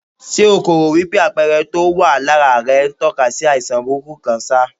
Ṣé o kò rò wípé àpẹẹrẹ tó wà lára rẹ̀ ń tó ka sí àìsàn burúkú kan ṣá?